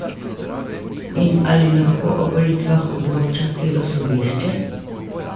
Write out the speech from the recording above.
In ali lahko o volitvah odloča celo sodišče?